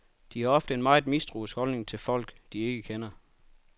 De har ofte en meget mistroisk holdning til folk, de ikke kender.